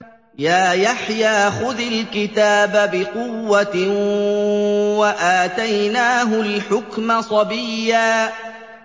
يَا يَحْيَىٰ خُذِ الْكِتَابَ بِقُوَّةٍ ۖ وَآتَيْنَاهُ الْحُكْمَ صَبِيًّا